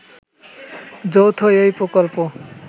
যৌথ এই প্রকল্প